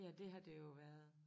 Ja det har det jo været